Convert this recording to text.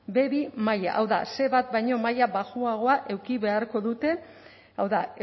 be bi maila hau da ce bat baino maila baxuagoa eduki beharko dute hau da